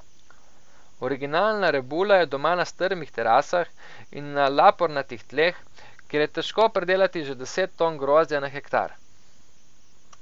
Originalna rebula je doma na strmih terasah in na lapornatih tleh, kjer je težko pridelati že deset ton grozdja na hektar.